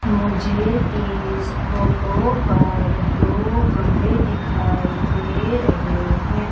मुझे इस फोटो पर दो गमले दिखाई दे रहे हैं।